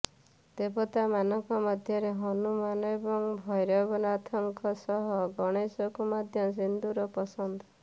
ଦେବତା ମାନଙ୍କ ମଧ୍ୟରେ ହନୁମାନ ଏବଂ ଭୈରବନାଥଙ୍କ ସହ ଗଣେଶଙ୍କୁ ମଧ୍ୟ ସିନ୍ଦୁର ପସନ୍ଦ